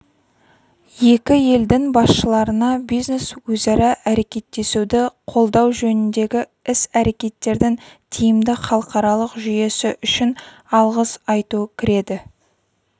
екі елдің басшыларына бизнес-өзара әрекеттесуді қолдау жөніндегі іс-әрекеттердің тиімді халықаралық жүйесі үшін алғыс айту кіреді